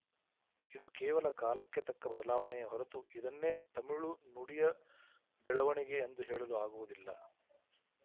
ಇದು ಕೇವಲ ಕಾಲಕ್ಕೆ ತಕ್ಕ ಬದಲಾವಣೆಯೇ ಹೊರತು ಇದನ್ನೇ ತಮಿಳು ನುಡಿಯ ಬೆಳವಣಿಗೆ ಎಂದು ಹೇಳಲು ಆಗುವುದಿಲ್ಲ